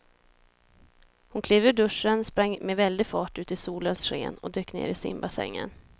Hon klev ur duschen, sprang med väldig fart ut i solens sken och dök ner i simbassängen.